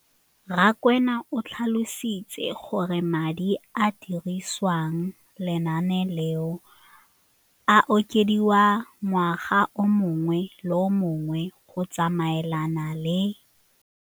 Rakwena o tlhalositse gore madi a a dirisediwang lenaane leno a okediwa ngwaga yo mongwe le yo mongwe go tsamaelana le.